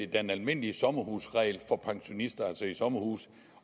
den almindelige sommerhusregel for pensionister altså i sommerhuse